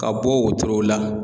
Ka bɔ wotorow la.